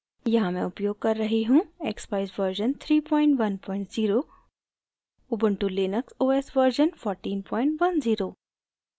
यहाँ मैं उपयोग कर रही हूँ: